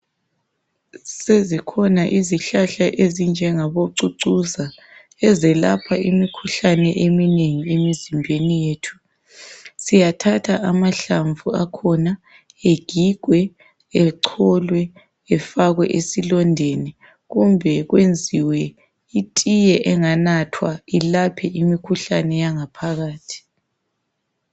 Sezikhona izihlahla ezinjengabo cucuza ezelapha imikhuhlane eminengi emizimbeni yethu. Siyathatha amahlamvu akhona egigwe echolwe efakwe esilondeni kumbe kwenziwe itiye enganathwa ilaphe imikhuhlane yangaphakathi.